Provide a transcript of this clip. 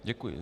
Děkuji.